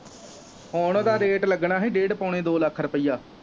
ਹੁਣ ਉਹਦਾ ਰੈਟ ਲੱਗਣਾ ਹੀ ਡੇਢ ਪੋਣੇ ਦੋ ਲੱਖ ਰੁਪਈਆ।